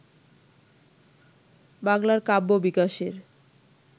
বাংলার কাব্য বিকাশের